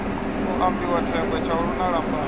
ambiwa thengwe tshaulu ha lambani